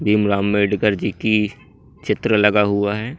भीमराव आंबेडकर जी की चित्र लगा हुआ है।